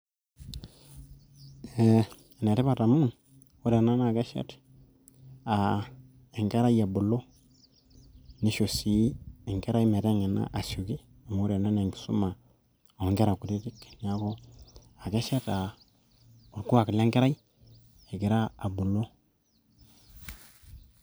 eh, enetipat amu ore ena naa keshet uh, enkerai ebulu nisho sii enkerai meteng'ena asioki amu ore ena naa enkisuma oonkera kutitik neeku akeshet orkuak lenkerai egira abulu.